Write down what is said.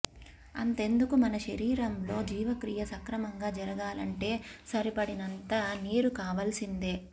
అంతెందుకు మన శరీరంలో జీవక్రియ సక్రమంగా జరగాలంటే సరిపడినంత నీరు కావాల్సిందే